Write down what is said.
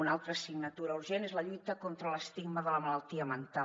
una altra assignatura urgent és la lluita contra l’estigma de la malaltia mental